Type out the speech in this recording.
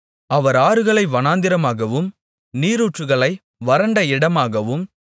அவர் ஆறுகளை வனாந்திரமாகவும் நீரூற்றுகளை வறண்ட இடமாகவும்